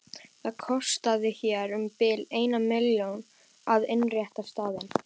Það kostaði hér um bil eina milljón að innrétta staðinn.